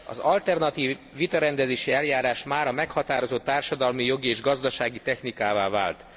Az alternatív vitarendezési eljárás mára meghatározott társadalmi, jogi és gazdasági technikává vált.